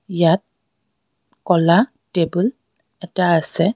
ইয়াত ক'লা টেবুল এটা আছে।